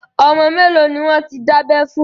Ọmọ mẹ́lòó ni wọ́n ti dábẹ́ fún?